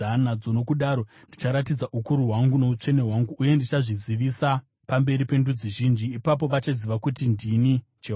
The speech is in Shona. Nokudaro ndicharatidza ukuru hwangu noutsvene hwangu, uye ndichazvizivisa pamberi pendudzi zhinji. Ipapo vachaziva kuti ndini Jehovha.’